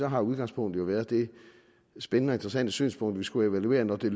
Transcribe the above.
har udgangspunktet jo været det spændende og interessante synspunkt at vi skulle evaluere når det